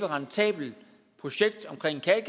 rentabelt projekt omkring